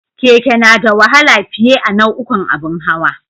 Keke na da wahala fiye a nau'ukan abun hawa